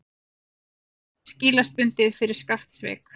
Tíu mánuðir skilorðsbundið fyrir skattsvik